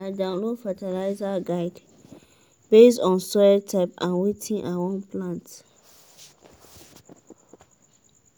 i download fertiliser guide based on soil type and wetin i wan plant.